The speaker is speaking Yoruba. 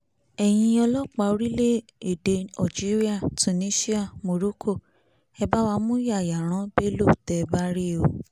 ẹ̀yin ọlọ́pàá orílẹ̀-èdè algeria tunisia morocco ẹ bá wá mú yayaran bello tẹ́ ẹ bá rí o